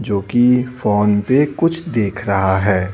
जो कि फोन पे कुछ देख रहा है।